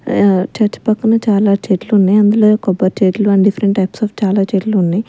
ఆ చర్చి పక్కన చాలా చెట్లు ఉన్నాయి అందులో కొబ్బరి చెట్లు అండ్ డిఫరెంట్ టైప్స్ ఆఫ్ చాలా చెట్లు ఉన్నాయి.